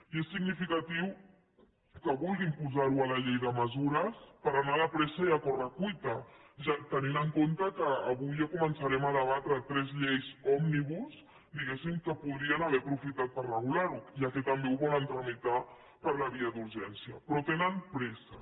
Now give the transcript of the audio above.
i és significatiu que vulguin posar ho a la llei de mesures per anar de pressa i a corre cuita tenint en compte que avui ja començarem a debatre tres lleis òmnibus diguéssim en què podrien haver aprofitat per regular ho ja que també ho volen tramitar per la via d’urgència però tenen pressa